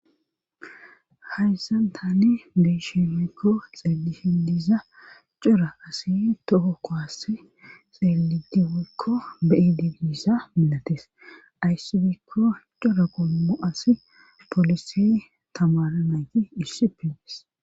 Hayssan tane beshemekko xeelihi diza cora asi toho ko asi xeelidi wolkko beidibiisa milates ayssibikko cora kolomo asi polisi tamara nayti issi pides.